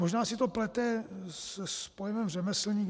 Možná si to plete s pojmem řemeslník.